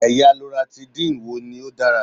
Ẹ̀yà Loratidine wo ni ó dára?